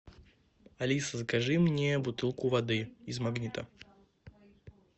алиса закажи мне бутылку воды из магнита